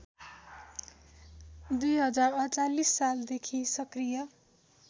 २०४८ सालदेखि सक्रिय